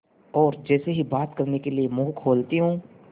और जैसे ही बात करने के लिए मुँह खोलती हूँ